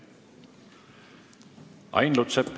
Ain Lutsepp.